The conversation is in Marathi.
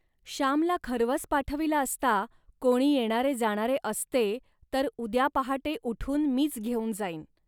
श्यामला खर्वस पाठविला असता, कोणी येणारेजाणारे असते तर. उद्या पहाटे उठून मीच घेऊन जाईन